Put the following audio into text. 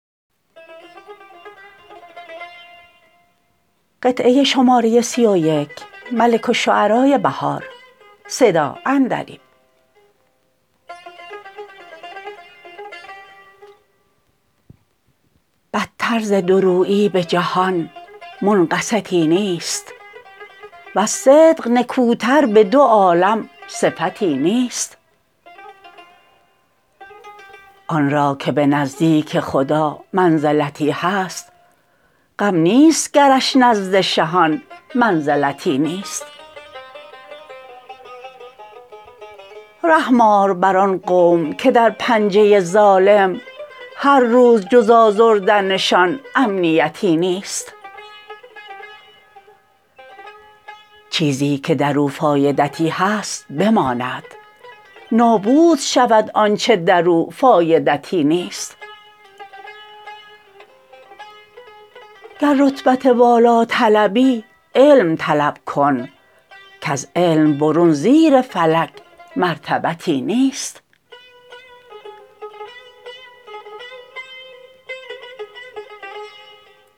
بدتر ز دورویی به جهان منقصتی نیست وز صدق نکوتر به دو عالم صفتی نیست آن را که به نزدیک خدا منزلتی هست غم نیست گرش نزد شهان منزلتی نیست رحم آر بر آن قوم که در پنجه ظالم هر روز جز آزردنشان امنیتی نیست چیزی که در او فایدتی هست بماند نابود شود آنچه در او فایدتی نیست گر رتبت والا طلبی علم طلب کن کز علم برون زیر فلک مرتبتی نیست